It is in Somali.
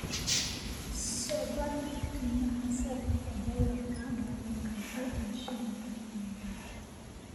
soo bandhig qiimaha sarifka doolarka Maraykanka iyo shilinka Kenya